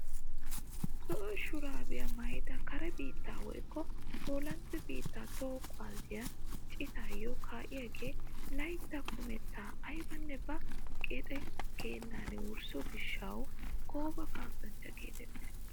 Zo'o shuraabiyaa maayida kare biittee woykko poolande biittaa toho kuwaasiyaa citaayo kaa'iyaagee laytta kumettaa aybanne ba qexe geennan wursso giishshawu gooba kasanchcha getettiis!